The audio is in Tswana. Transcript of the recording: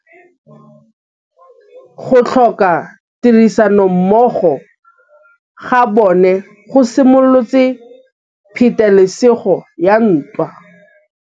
Go tlhoka tirsanommogo ga bone go simolotse patêlêsêgô ya ntwa.